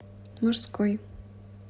мужской